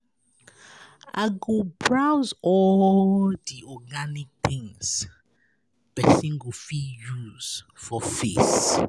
I go browse all the organic things person go fit use for face.